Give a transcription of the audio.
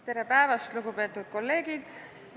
Tere päevast, lugupeetud kolleegid!